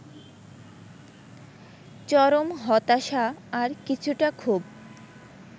চরম হতাশা আর কিছুটা ক্ষোভ